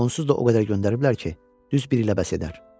Onsuz da o qədər göndəriblər ki, düz bir ilə bəs edər.